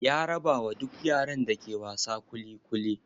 Ya rabawa duk yaran da ke wasa kuli kuli.